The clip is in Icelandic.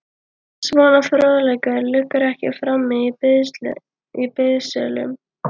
Svona fróðleikur liggur ekki frammi í biðsölum.